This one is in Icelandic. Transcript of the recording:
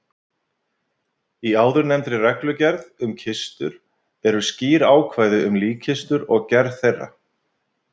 Í áðurnefndri reglugerð um kistur eru skýr ákvæði um líkkistur og gerð þeirra.